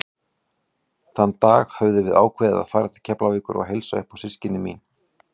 Þann dag höfðum við ákveðið að fara til Keflavíkur og heilsa upp á systkini mín.